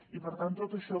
i per tant tot això